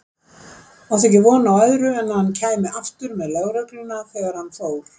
Átti ekki von á öðru en að hann kæmi aftur með lögregluna þegar hann fór.